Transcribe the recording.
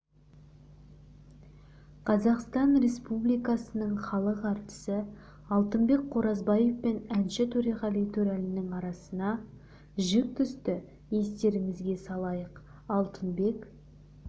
қазақстан республикасының халық әртісі алтынбек қоразбаев пен әнші төреғали төреәлінің арасына жік түсті естеріңізге салайық алтынбек